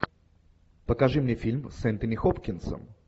покажи мне фильм с энтони хопкинсом